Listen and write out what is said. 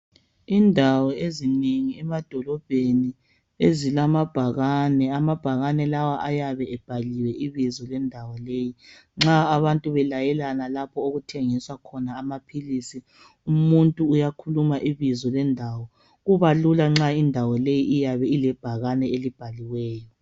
Indawo ezinengi emadolobheni ezilamabhakane, amabhakane lawa ayabe ebhaliwe ibizo lendawo leyi nxa abantu belayelana laphookuthengiswa khona amaphilisi, umuntu uyakhuluma ibizo lendawo, kubalula nxa ibizo lilebhakane lendawo.